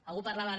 algú parlava ara